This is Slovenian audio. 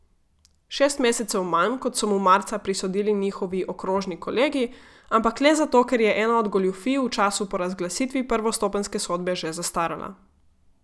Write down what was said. Šest mesecev manj, kot so mu marca prisodili njihovi okrožni kolegi, ampak le zato, ker je ena od goljufij v času po razglasitvi prvostopenjske sodbe že zastarala.